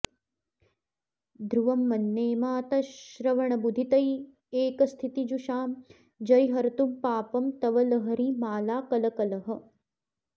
ध्रुवं मन्ये मातः श्रवणबुधितैकस्थितिजुषां जरीहर्तुं पापं तव लहरिमालाकलकलः